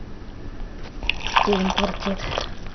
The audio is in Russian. терем квартет